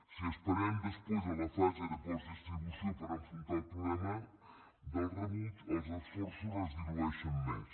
si esperem després a la fase de postdistribució per enfrontar el problema del rebuig els esforços es dilueixen més